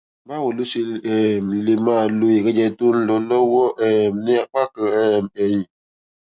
báwo lo ṣe um lè máa lo ìrẹjẹ tó ń lọ lówó um ní apá kan um ẹyin